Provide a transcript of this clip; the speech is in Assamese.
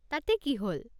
তাতে কি হ'ল?